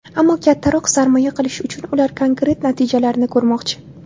Ammo kattaroq sarmoya qilish uchun ular konkret natijalarni ko‘rmoqchi.